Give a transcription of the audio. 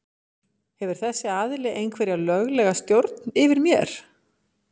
Hefur þessi aðili einhverja löglega stjórn yfir mér?